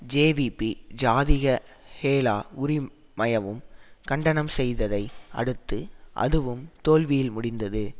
JVP Jathika Hela உறி மயவும் கண்டனம் செய்ததை அடுத்து அதுவும் தோல்வியில் முடிந்தது